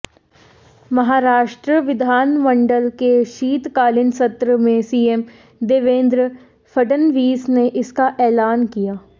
महाराष्ट्र विधानमंडल के शीतकालीन सत्र में सीएम देवेन्द्र फडणवीस ने इसका ऐलान किया